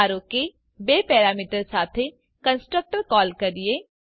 ધારો કે બે પેરામીટર સાથે કન્સ્ટ્રક્ટર કૉલ કરીએ